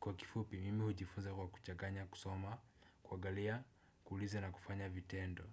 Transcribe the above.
Kwa kifupi mimi hujifunza kwa kuchaganya kusoma kwa kuangalia, kuuliza na kufanya vitendo.